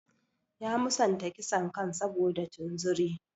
Ya musanta kisan kai saboda tunzuri.